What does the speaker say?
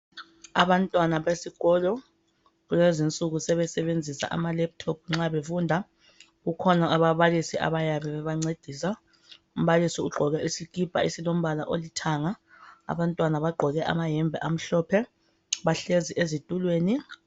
Abantwana besikolo kulezinsuku sebesebenzisa amaleptop nxa befunda kukhona ababalisi bayabe bebancedisa. Umbalisi ugqoke isikipa esilombala olithanga, abantwana bagqoke amayembe amhlophe bahlezi ezitulweni.